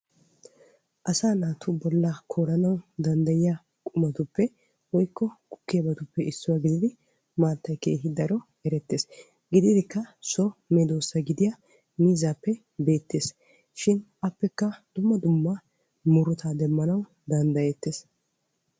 Asaa naatu bolla koollanawu maaddiya qumatuppe woykko gukkiyabatuuppe maattay issuwa gididdi miizzappe beetees.